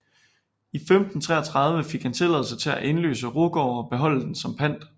I 1533 fik han tilladelse til at indløse Rugård og beholde den som pant